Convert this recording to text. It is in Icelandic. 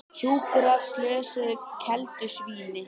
Hjúkrar slösuðu keldusvíni